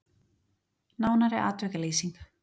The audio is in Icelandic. Nánari atvikalýsing